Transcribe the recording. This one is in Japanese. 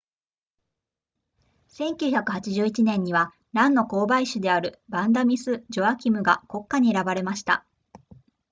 1981年にはランの交配種であるヴァンダミスジョアキムが国花に選ばれました